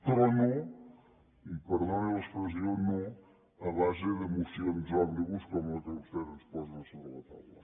però no i perdoni l’expressió no a base de mocions òmnibus com la que vostès ens posen a sobre la taula